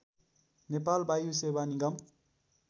नेपाल वायुसेवा निगम